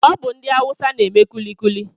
Ọ bụ ndị awusa n'eme kulikuli